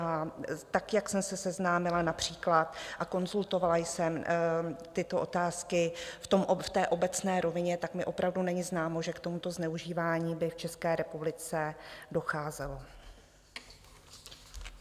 A tak, jak jsem se seznámila například a konzultovala jsem tyto otázky v té obecné rovině, tak mi opravdu není známo, že k tomuto zneužívání by v České republice docházelo.